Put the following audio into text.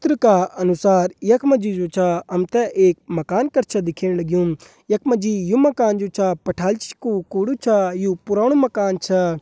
चित्र का अनुसार यख मा जी जू छ हम त एक मकान कर छ दिखेण लग्युं यख मा जी यू मकान जू छ पठाली का कुड़ू छ यू पुराणु मकान छ।